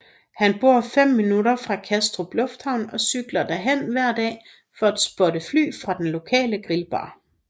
Han bor fem minutter fra Kastrup lufthavn og cykler derhen hver dag for at spotte fly fra den lokale grillbar